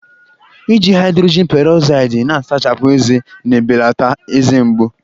Iji haịdrojin perozaịdị na-asachapụ ọnụ na-ebelata eze mgbu